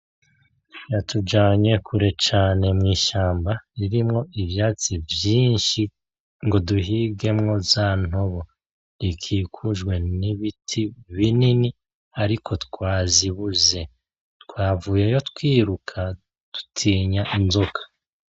Yatujanye kure cane mw'ishamba ririmwo ivyatsi vyinshi ngo duhigemwo za ntobo , ikikujwe n'ibiti binini ariko twazibuze twavuyeyo twiruka dutinya inzoka.